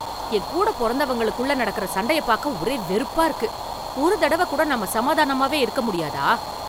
என் கூட பொறந்தவங்களுக்குள்ள நடக்குற சண்டைய பாக்க ஒரே வெறுப்பா இருக்கு. ஒரு தடவ கூட நாம சமாதானமாவே இருக்க முடியாதா?